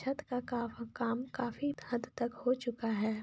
छत का काफ काम काफी हद तक हो चूका है।